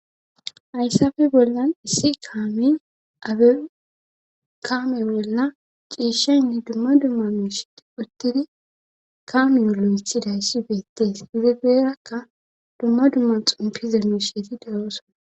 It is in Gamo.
Hyssafe bollan issi kaamey abe kaame bolla ciishaynne dumma dumma misheti uttidi kaamiyolo ixidayssi beettees izi garakka dumma dumma xompiza miisheti de'ssoosona